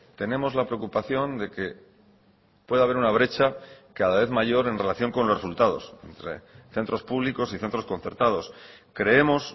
tenemos la preocupación de que puede haber una brecha cada vez mayor en relación con los resultados centros públicos y centros concertados creemos